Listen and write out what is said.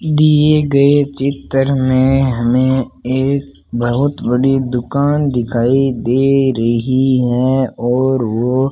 दिए गए चित्र में हमे एक बहोत बड़ी दुकान दिखाई दे रही हैं और वो --